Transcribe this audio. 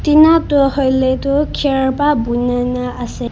Tina toh hoile toh kher pa bonai na ase.